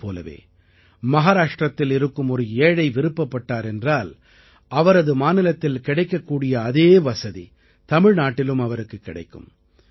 இதைப் போலவே மஹாராஷ்டிரத்தில் இருக்கும் ஒரு ஏழை விருப்பப்பட்டார் என்றால் அவரது மாநிலத்தில் கிடைக்கக் கூடிய அதே வசதி தமிழ்நாட்டிலும் அவருக்குக் கிடைக்கும்